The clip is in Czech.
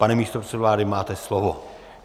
Pane místopředsedo vlády, máte slovo.